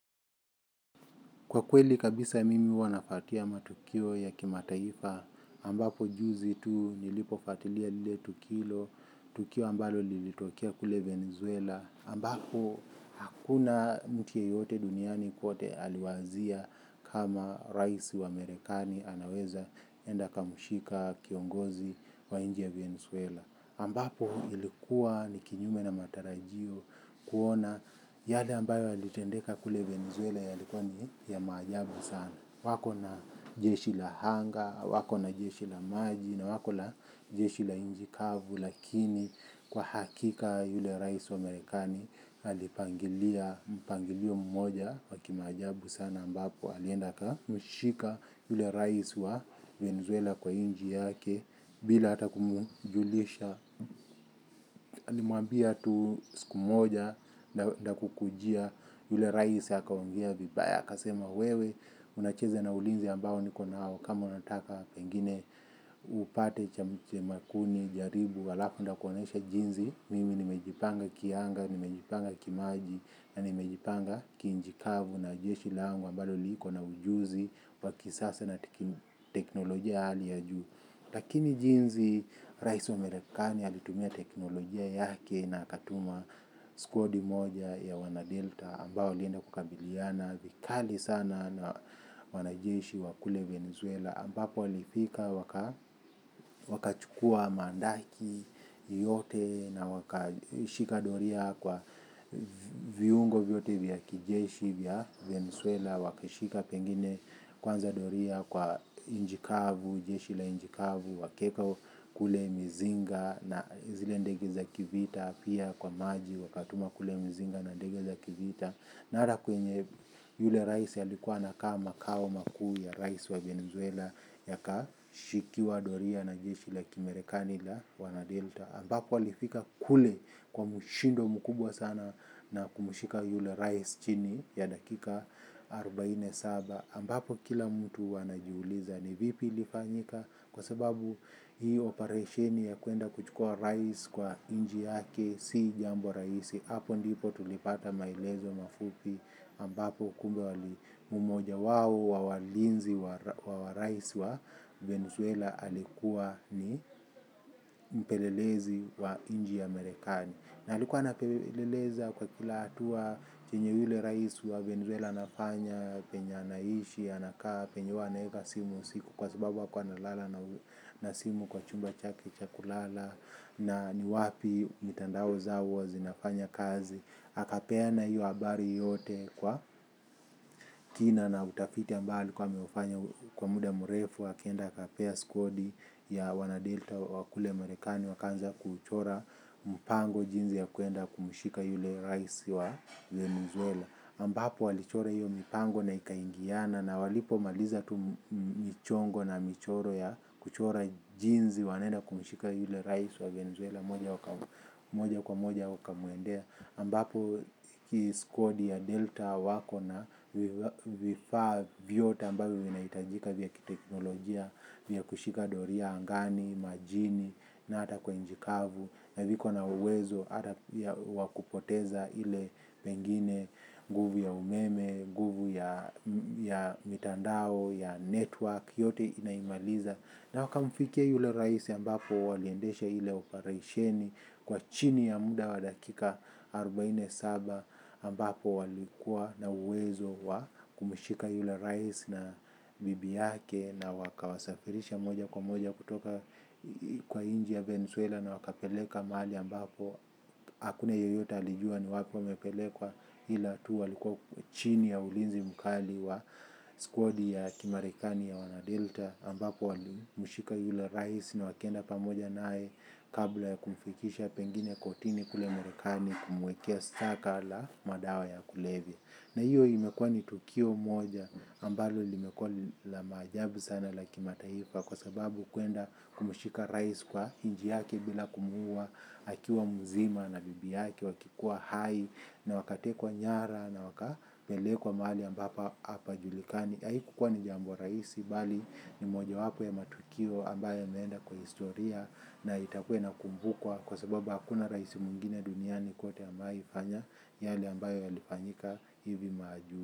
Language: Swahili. Kwa kweli kabisa mimi huwa nafatia matukio ya kimataifa, ambapo juzi tu nilipofatilia lile tukilo, tukio ambalo lilitokea kule Venezuela, ambapo hakuna mtu yeyote duniani kwote aliwazia kama raisi wa merekani anaweza enda akamshika kiongozi wa nji ya venezuela ambapo ilikuwa ni kinyume na matarajio kuona yale ambayo yalitendeka kule venezuela yalikuwa ni ya maajabu sana wako na jeshi la hanga wako na jeshi la maji na wako na jeshi la inji kavu lakini kwa hakika yule raisi wa marekani alipangilia mpangilio mmoja wa kimaajabu sana ambapo alienda aka mshika yule rais wa Venezuela kwa inji yake, bila hata kumujulisha. Limuambia tu siku moja, nda kukujia yule rais akaongea vibaya, akasema wewe, unacheza na ulinzi ambao niko nao, kama unataka pengine upate cha mchemakuni, jaribu, alafu ndakuonesha jinzi, mimi nimejipanga kianga, nimejipanga kimaji, na nimejipanga kiinji kavu na jeshi langu, ambalo liiko na ujuzi wakisasa na tekin teknolojia hali ya juu. Lakini jinzi raisi wa merikani alitumia teknolojia yake na akatuma skuadi moja ya wana delta ambao walienda kukabiliana vikali sana na wanajeshi wakule Venezuela ambapo alifika waka wakachukua mandaki yote na wakashikadoria kwa viungo vyote vya kijeshi vya Venesuela. Wakashika pengine kwanza doria kwa injikavu, jeshi la injikavu, wakaeka kule mizinga na zile ndege za kivita, pia kwa maji wakatuma kule mzinga na ndege za kivita. Nara kwenye yule rais alikuwa anakaa makao makuu ya rais wa Venezuela ya kashikiwa doria na jeshi la kimerekani la wanadelta ambapo alifika kule kwa mushindo mukubwa sana na kumushika yule rais chini ya dakika arubaine saba ambapo kila mutu anajiuliza ni vipi ilifanyika kwa sababu hii operasheni ya kuenda kuchukua rais kwa inji yake si jambo rahisi hapo ndipo tulipata maelezo mafupi ambapo kumbe wali mmoja wao wa walinzi wa raisi wa Venezuela alikuwa ni mpelelezi wa inji ya merekani na alikuwa anapeleleza kwa kila hatua chenye yule raisi wa Venezuela anafanya penye anaishi anakaa penye huwa anaeka simu usiku kwa sababu hakuwa ana lala na simu kwa chumba chake cha kulala na ni wapi mitandao zao huwa zinafanya kazi akapeana hiyo habari yote kwa kina na utafiti ambayo alikuwa ameufanya kwa muda murefu akaenda akapea skuadi ya wanadelta wa kule marekani wakaanza kuchora mpango jinzi ya kuenda kumushika yule rais wa Venezuela ambapo walichora iyo mipango na ikaingiana. Na walipo maliza tu michongo na michoro ya kuchora jinzi wanaenda kumushika yule rais wa Venezuela moja kwa moja wakamuendea. Ambapo hii skuadi ya delta wako na vifaa vyote ambavyo vinahitajika vya kiteknolojia vya kushika doria angani majini na hata kwa inji kavu i think wanauwezo hata pia wa kupoteza ile pengine nguvu ya umeme nguvu ya ya mitandao, ya network yote inaimaliza. Na waka mfikia yule raisi ambapo waliendesha ile uparaisheni kwa chini ya muda wa dakika arobaini na saba ambapo walikuwa na uwezo wa kumushika yule raisi na bibi yake na waka wasafirisha moja kwa moja kutoka kwa inji ya Venezuela na wakapeleka mahali ambapo. Hakuna yoyota alijua ni wapi wamepelekwa ila tu walikuwa chini ya ulinzi mkali wa squadi ya kimarekani ya wanadelta ambapo walimushika yule rais na wakaenda pamoja naye kabla ya kumfikisha pengine kotini kule merekani kumwekea staka la madawa ya kulevya. Na hiyo imekuwa ni tukio moja ambalo limekuwa la maajabu sana la kimataifa kwa sababu kwenda kumushika rais kwa inji yake bila kumuua, akiwa muzima na bibi yake wakikuwa hai na wakatekwa nyara na wakapele kwa mahali ambapo hapa julikani. Haiku kukua ni jambo rahisi bali ni moja wapo ya matukio ambayo yameenda kwa historia na itakua ina kumbukwa. Kwa sababu hakuna raisi mwingine duniani kwote amewa ifanya yale ambayo yalifanyika hivi maju.